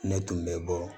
Ne tun bɛ bɔ